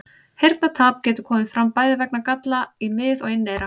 Heyrnartap getur komið fram bæði vegna galla í mið- og inneyra.